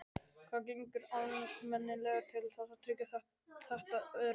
Hvað gerir almenningur til þess að tryggja þetta öryggi?